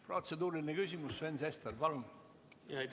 Protseduuriline küsimus, Sven Sester, palun!